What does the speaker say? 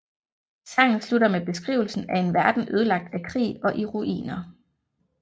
Sangen slutter med beskrivelsen af en verden ødelagt af krig og i ruiner